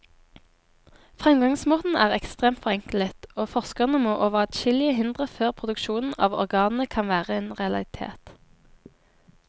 Fremgangsmåten er ekstremt forenklet, og forskerne må over adskillige hindre før produksjon av organene kan være en realitet.